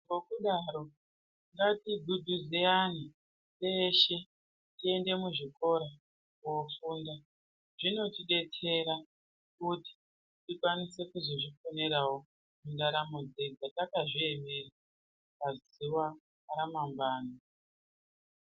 Ngikudaro ngatiguguze antu teshe tiende muzvikora kofunda zvinotodetsera kuti tikwanise kuzizviponerawo mundaramo dzedu takazviemera pazuwa ramangwani.